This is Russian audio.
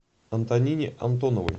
антонине антоновой